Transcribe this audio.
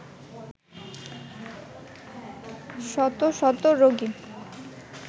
শত শত রোগী